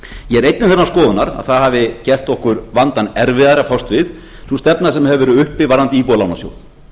skoðunar að það hafi gert okkur vandann erfiðari að fást við sú stefna sem hefur verið uppi varðandi íbúðalánasjóð